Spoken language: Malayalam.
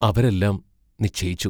അവരെല്ലാം നിശ്ചയിച്ചു.